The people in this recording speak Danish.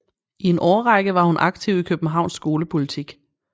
I en årrække var hun aktiv i Københavns skolepolitik